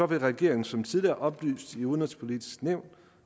vil regeringen som tidligere oplyst i det udenrigspolitiske nævn